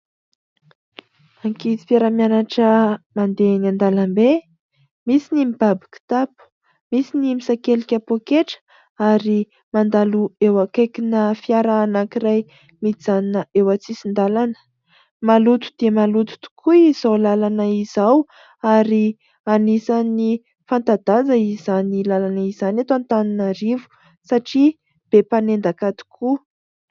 Ankizy mpiara-mianatra mandeha eny an-dàlambe. Misy ny mibaby kitapo, misy ny misakelika poketra ; ary mandalo eo akaiki-na fiara anankiray mijanona eo antsisin-dàlana. Maloto dia maloto tokoa izao làlana izao ; ary anisany fanta-daza izany làlana izany eto Antananarivo, satria be mpanendaka tokoa.